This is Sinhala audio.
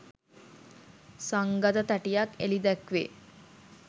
සංගත තැටියක් එලි දැක්වේ